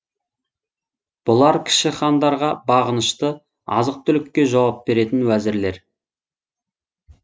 бұлар кіші хандарға бағынышты азық түлікке жауап беретін уәзірлер